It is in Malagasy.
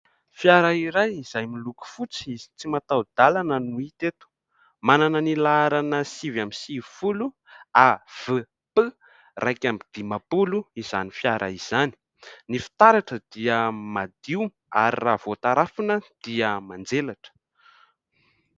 Fiara iray izay miloko fotsy, tsy mataho-dalana no hita eto, manana ny laharana sivy amby sivy folo AVP iraika amby dimampolo izany fiara izany, ny fitaratra dia madio ary raha vao tarafina dia manjelatra.